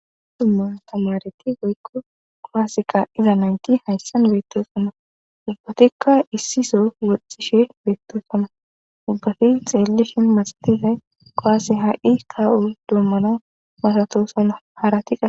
dumma tamareti goykko qoaaseqa iza nanki hayssan beettosonna ubbatikka issiso woxxishe beettosonna ubbafi xeellishin maxatizay qoase ha7i kaa7u dommana masatosonna haaratika